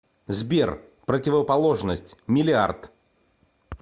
сбер противоположность миллиард